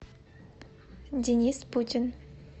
денис путин